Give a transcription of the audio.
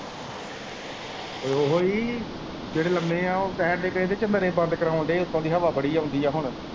ਓ ਓਹੀ ਹੀ ਜੇੜੇ ਲੰਮੇ ਐ ਉਹ ਕਹਿਣ ਦੇ ਐ ਕਹਿੰਦੇ ਕਮਰੇ ਬੰਦ ਕਰਾਨ ਦੇ ਉੱਤੋਂ ਦੀ ਹਵਾ ਬੜੀ ਆਉਂਦੀ ਆ ਹੁਣ।